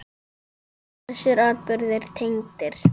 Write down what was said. En eru þessir atburðir tengdir?